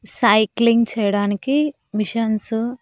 Cycling చేయడానికి machines .